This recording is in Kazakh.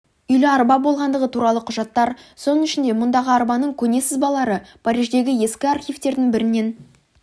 үйлі арба болғандығы туралы құжаттар соның ішінде мұндай арбаның көне сызбалары париждегі ескі архивтердің бірінен